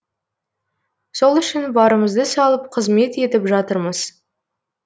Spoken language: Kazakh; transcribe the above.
сол үшін барымызды салып қызмет етіп жатырмыз